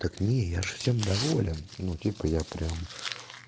так не я же всем доволен ну типа я прям